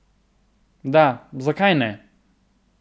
Da, zakaj ne?